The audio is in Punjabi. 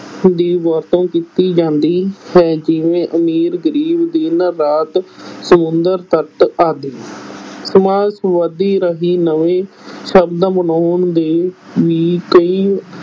ਦੀ ਵਰਤੋਂ ਕੀਤੀ ਜਾਂਦੀ ਹੈ, ਜਿਵੇਂ ਅਮੀਰ-ਗਰੀਬ, ਦਿਨ-ਰਾਤ, ਸਮੁੰਦਰ-ਤਟ ਆਦਿ ਸਮਾਸ ਵਿਧੀ ਰਾਹੀਂ ਨਵੇਂ ਸ਼ਬਦ ਬਣਾਉਣ ਦੇ ਵੀ ਕਈ